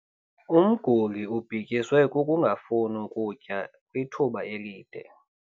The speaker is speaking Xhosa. Umguli ubhityiswe kukungafuni kutya kwithuba elide.